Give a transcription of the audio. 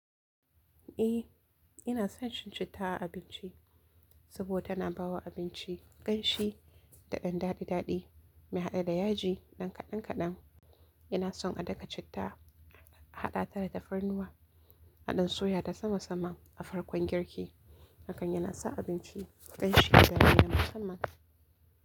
Eh ina son cin citta a abinci saboda tana bawa abinci kamshi da dan dadi dadi na hade da yaji kadan kadan ina son a daka citta a haɗa ta da tafarnuwa a ɗan soya ta sama saman a farkon girki. Hakan yana sa abinci ƙanshi ga miyan musamman.